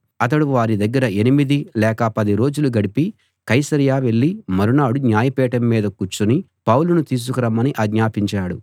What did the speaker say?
అతడు వారి దగ్గర ఎనిమిది లేక పది రోజులు గడిపి కైసరయ వెళ్ళి మరునాడు న్యాయపీఠం మీద కూర్చుని పౌలును తీసుకురమ్మని ఆజ్ఞాపించాడు